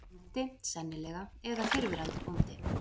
Bóndi, sennilega, eða fyrrverandi bóndi.